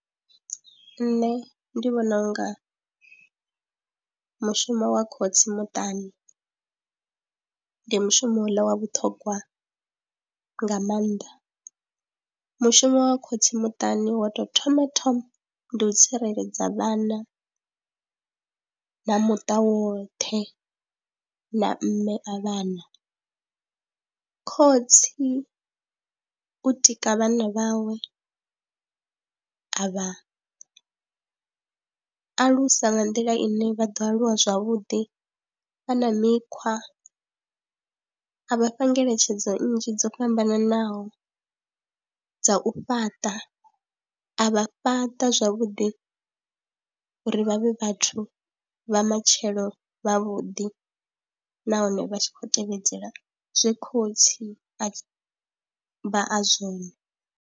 Nṋe ndi vhona u nga mushumo wa khotsi muṱani ndi mushumo houḽa wa vhuṱhogwa nga maanḓa, mushumo wa khotsi muṱani wa tou thoma thoma ndi u tsireledza vhana na muṱa woṱhe na mme a vhana. Khotsi u tika vhana vhawe a vha alusa nga nḓila ine vha ḓo aluwa zwavhuḓi vha na mikhwa, a vha fha ngeletshedzo nnzhi dzo fhambananaho dza u fhaṱa, a vha fhaṱa zwavhuḓi uri vha vhe vhathu vha matshelo vhavhuḓi nahone vha tshi khou tevhedzela zwe khotsi a vha a zwone.